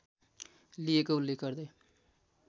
लिएको उल्लेख गर्दै